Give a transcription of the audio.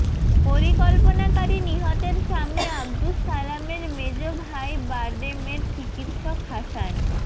পরিকল্পনাকারী নিহতের স্বামী আবদুস সালামের মেজ ভাই বারডেমের চিকিৎসক হাসান